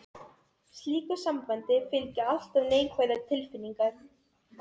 Slíku sambandi fylgja alltaf neikvæðar tilfinningar.